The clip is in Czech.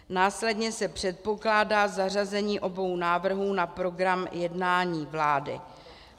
Následně se předpokládá zařazení obou návrhů na program jednání vlády.